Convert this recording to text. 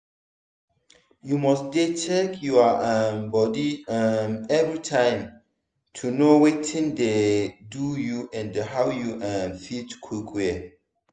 you must dey check your um body um everytime to know watin dey do you and how you um fit quick well.